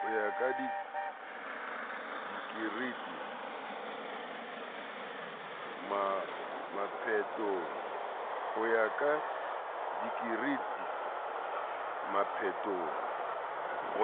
ho